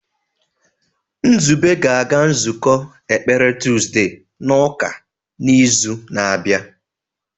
Nzube ga-aga nzukọ ekpere tuzdee n'ụka n'izu na-abịa.